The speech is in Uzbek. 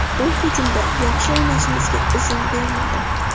U hujumda yaxshi o‘ynashimizga izn bermadi.